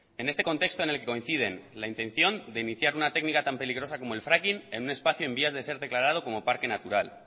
en este contexto en el que coinciden la intención de iniciar una técnica tan peligrosa como el fracking en un espacio en vías de ser declarado como parque natural